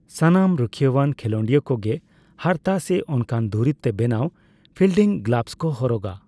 ᱥᱟᱱᱟᱢ ᱨᱩᱠᱷᱤᱭᱟᱹᱣᱟᱱ ᱠᱷᱮᱞᱚᱸᱰᱤᱭᱟᱹ ᱠᱚᱜᱮ ᱦᱟᱨᱛᱟ ᱥᱮ ᱚᱱᱠᱟᱱ ᱫᱩᱨᱤᱵ ᱛᱮ ᱵᱮᱱᱟᱣ ᱯᱷᱤᱞᱰᱤᱝ ᱜᱞᱟᱵᱷᱥ ᱠᱚ ᱦᱚᱨᱚᱜᱟ ᱾